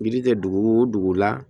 Biriki kɛ dugu wo dugu la